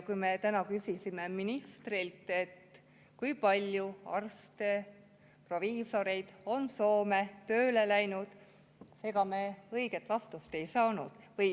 Kui me küsisime ministrilt, kui palju arste ja proviisoreid on Soome tööle läinud, siis ega me õiget vastust ei saanud.